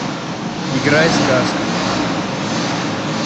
играй сказка